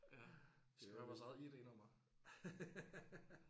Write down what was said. Ja vi skal høre vores eget ID-nummer